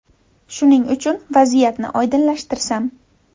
Shuning uchun, vaziyatni oydinlashtirsam.